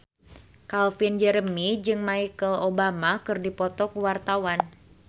Calvin Jeremy jeung Michelle Obama keur dipoto ku wartawan